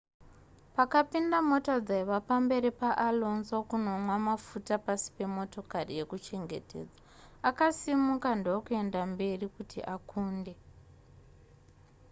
pakapinda mota dzaiva pamberi paalonso kunonwa mafuta pasi pemotokari yekuchengetedza akasimuka ndokuenda mberi kuti akunde